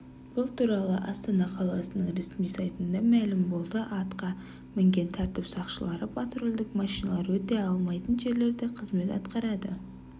бұл туралы астана қаласының ресми сайтында мәлім болды атқа мінген тәртіп сақшылары патрульдік машиналар өте алмайтын жерлерде қызмет атқарады